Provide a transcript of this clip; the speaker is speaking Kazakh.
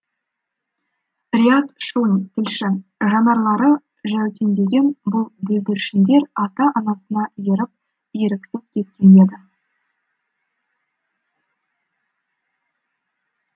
риат шони тілші жанарлары жәутеңдеген бұл бүлдіршіндер ата анасына еріп еріксіз кеткен еді